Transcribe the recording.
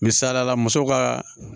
Misalila muso ka